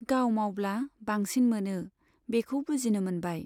गाव मावब्ला बांसिन मोनो, बेखौ बुजिनो मोनबाय।